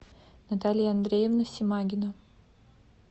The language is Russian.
наталья андреевна симагина